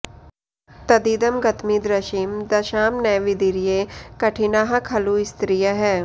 तदिदं गतमीदृशीं दशां न विदीर्ये कठिनाः खलु स्त्रियः